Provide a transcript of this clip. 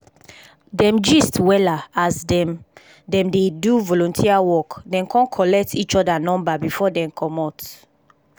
dem gist wella as dem dem dey do volunteer work dem kon collect each other number before dem comot